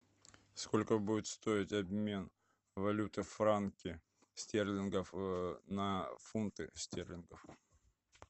сколько будет стоить обмен валюты франки стерлингов на фунты стерлингов